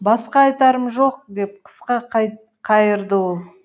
басқа айтарым жоқ деп қысқа қайырды ол